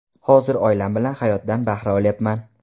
Hozir oilam bilan hayotdan bahra olyapman.